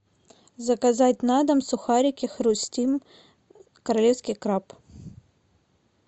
заказать на дом сухарики хрустим королевский краб